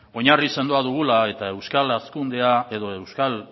oinarri sendoa dugula eta euskal hazkundea edo euskal